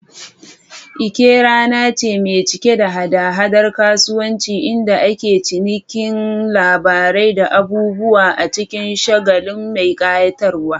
Eke rana ce mai cike da hada-hadar kasuwanci inda ake cinikin labarai da abubuwa a cikin shagali mai kayatarwa.